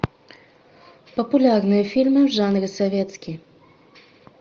популярные фильмы в жанре советский